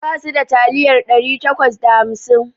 Basu da taliyar ɗari takwas da hamsin